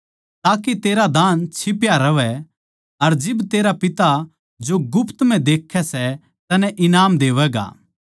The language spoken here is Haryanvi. ताके तेरा दान छिप्या रहवै अर जिब तेरा पिता जो गुप्त म्ह देक्खै सै तन्नै ईनाम देवैगा